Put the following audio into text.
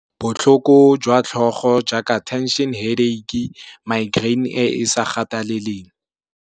Botlhoko jwa tlhogo jaaka tension headache, migraine e e sa gateleleng.